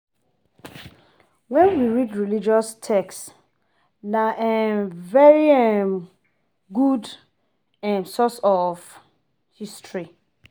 When we read religious text na um very um good um source of history